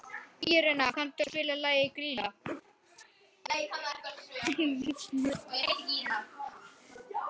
Írena, kanntu að spila lagið „Grýla“?